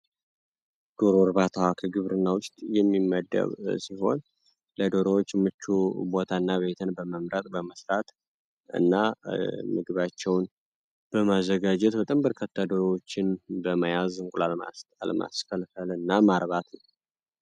ዶሮ እርባታ ከግብርና ውስጥ የሚመደብ ሲሆን፤ ለዶሮዎች ምቹ ቦታና ቤትን በመምረጥ በመስራት እና ምግባቸውን በማዘጋጀት በጣም በርካታ ዶሮዎችን በመያዝ እንቁላሎችን ማስጣል ማስፈልፈል እና ማርባት ነው።